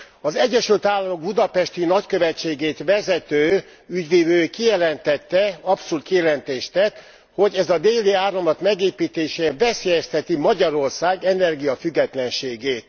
Az Egyesült Államok budapesti nagykövetségét vezető ügyvivő kijelentette abszolút kijelentést tett hogy a Déli Áramlat megépítése veszélyezteti Magyarország energiafüggetlenségét.